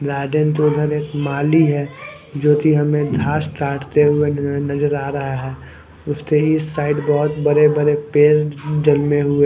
garden माली है जो कि हमें घास काटते न नज़र आ रहा है उसके ही साइड बहुत बड़े-बड़े पेड़ जमे हुए--